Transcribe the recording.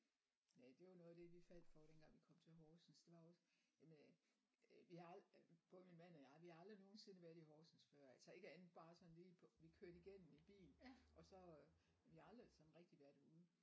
Øh det var noget af det vi faldt for dengang vi kom til Horsens det var også jamen øh øh vi har både min mand og jeg vi har aldrig nogensinde været i Horsens før altså ikke andet bare sådan lige på vi kørte igennem i bil og så vi har aldrig sådan rigtig været ude